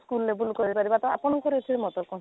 ତାକୁ level କରି ପାରିବ ତ ଆପଙ୍କର ଏଥିରେ ମତ କ'ଣ?